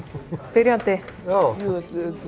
byrjandi jú þetta